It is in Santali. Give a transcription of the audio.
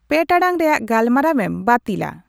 ᱯᱮ ᱴᱟᱲᱟᱝ ᱨᱮᱭᱟᱜ ᱜᱟᱞᱢᱟᱨᱟᱣ ᱮᱢ ᱵᱟᱹᱛᱤᱞᱟ